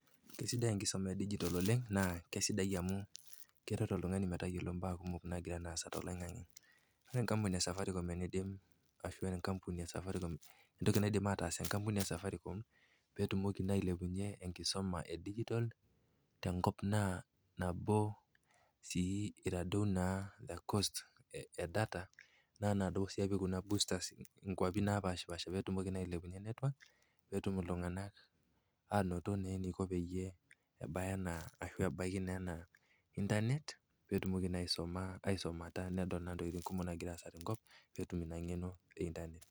Kesidai enkisoma edijtol oleng, naa keisidai amu eret oltung'ani metayiolou imbaa kumok nagira aasa toloing'ang'e. Ore enkampuni e Safaricom ashu enkampuni e Safaricom, entoki naidim ataas enkampuni e Safaricom, peetumoki naa ailepunyie enkisoma e dijitol tenkop naa nabo naa sii eitadou the cost e data naa duo epik kuna boosters inkuapi naapaashipaasha petumoki naa ailepunye network petum iltung'anak ainoto naa eneiko peyie ebaya, ashu ebaiki intanet, petumoki naa aisomata nedol naa intokitin kumok nagira aasa tenkop eimu ina ng'eno e intanet.